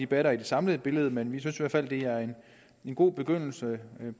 batter i det samlede billede men vi synes i hvert fald at det er en god begyndelse